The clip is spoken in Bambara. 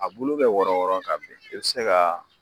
A bulu bɛ wɔrɔn wɔrɔn ka bin, i be se ka